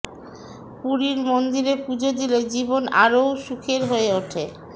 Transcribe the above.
পুরীর মন্দিরে পুজো দিলে জীবন আরও সুখের হয়ে ওঠে